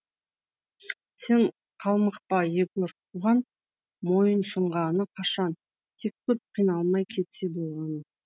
сен қамықпа егор бұған мойынсұнғаны қашан тек көп қиналмай кетсе болғаны